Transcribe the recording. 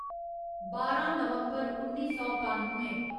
बारां नवम्बर उन्नी सौ कानुए